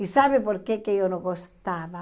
E sabe por quê que eu não gostava?